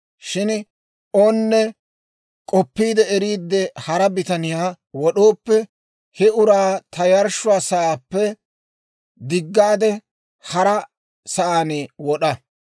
Shin onne k'opiide eriidde hara bitaniyaa wod'ooppe, he uraa ta yarshshuwaa sa'aappe diggaade, haraa sa'aan wod'a.